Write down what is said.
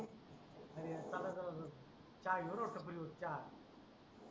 आणि चला जरा टपरीवर चहा घेऊ चहा